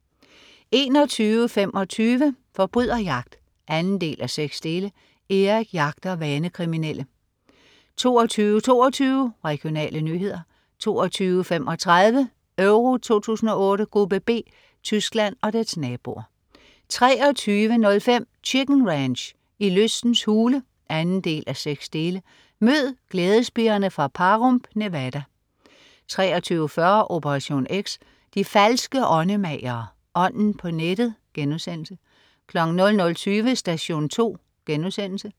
21.25 Forbryderjagt 2:6. Erik jagter vanekriminelle 22.22 Regionale nyheder 22.35 Euro 2008: Gruppe B: Tyskland og dets naboer 23.05 Chicken Ranch. I lystens hule 2:6. Mød glædespigerne fra Pahrump, Nevada 23.40 Operation X. De falske åndemagere. Ånden på nettet* 00.20 Station 2*